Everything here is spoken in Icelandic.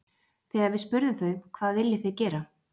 Þegar við spurðum þau hvað viljið þið gera?